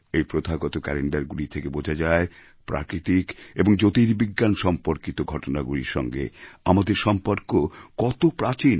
এই প্রথাগত ক্যালেণ্ডারগুলি থেকে বোঝা যায় প্রাকৃতিক এবং জ্যোতির্বিজ্ঞান সম্পর্কিত ঘটনাগুলির সঙ্গে আমাদের সম্পর্ক কত প্রাচীন